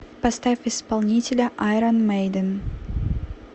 поставь исполнителя айрон мэйдэн